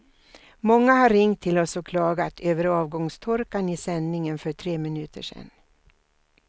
Många har ringt till oss och klagat över avgångstorkan i sändningen för tre minuter sen.